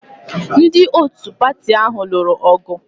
Ndị otu pati ahụ lụrụ ọgụ